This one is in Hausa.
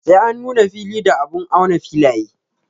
Sai an auna fili da abun auna filaye.